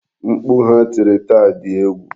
Mkpu ha tiri taa di egwu.